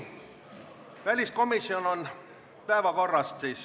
Aga nüüd päevakorrast.